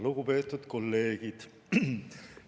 Lugupeetud kolleegid!